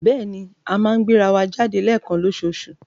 Bẹ́ẹ̀ni, a máa ń gbéra wa jáde léẹ̀kan lóṣoòṣù.